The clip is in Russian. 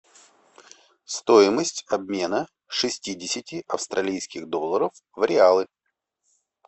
стоимость обмена шестидесяти австралийских долларов в реалы